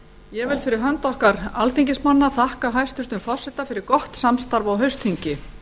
ég vil fyrir hönd okkar alþingismanna þakka hæstvirtum forseta fyrir gott samstarf á haustþingi